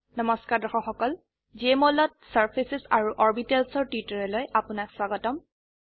নমস্কাৰ দৰ্শক সকল জেএমঅল ত চাৰ্ফেচেছ আৰু অৰ্বিটেলছ এৰ টিউটোৰিয়েললৈ আপোনাক স্বাগতম